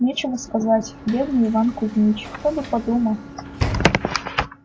нечего сказать бедный иван кузмич кто бы подумал